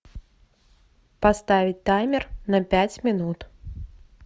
поставить таймер на пять минут